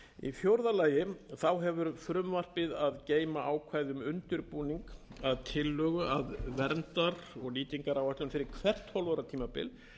til í fjórða lagi hefur frumvarpið að geyma ákvæði um undirbúning að tillögu að verndar og nýtingaráætlun fyrir hvert tólf ára tímabil